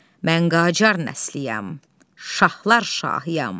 Mən Qacar nəsliyəm, şahlar şahıyam.